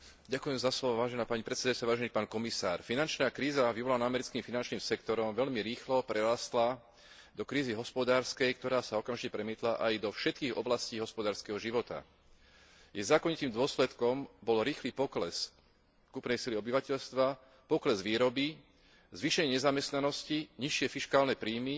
Finančná kríza vyvolaná americkým finančným sektorom veľmi rýchlo prerástla do krízy hospodárskej, ktorá sa okamžite premietla aj do všetkých oblastí hospodárskeho života. Jej zákonitým dôsledkom bol rýchly pokles kúpnej sily obyvateľstva, pokles výroby, zvýšenie nezamestnanosti, nižšie fiškálne príjmy a menej peňazí na financovanie verejných rozpočtov.